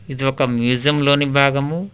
ఇది ఒక మ్యూజియంలోని భాగము.